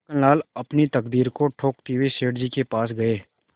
छक्कनलाल अपनी तकदीर को ठोंकते हुए सेठ जी के पास गये